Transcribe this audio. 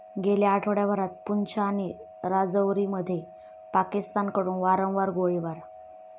गेल्या आठवड्याभरात पूंछ आणि राजौरीमध्ये पाकिस्तानकडून वारंवार गोळीबार